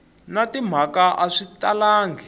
na timhaka a swi talangi